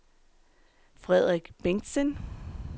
Frederik Bengtsen